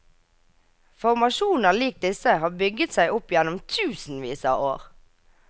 Formasjoner lik disse har bygget seg opp gjennom tusenvis av år.